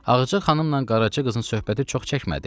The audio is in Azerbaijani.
Ağca xanımla Qaraca qızın söhbəti çox çəkmədi.